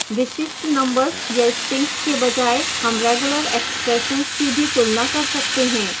विशिष्ट numbers या strings के बजाय हम regular expressions की भी तुलना कर सकते हैं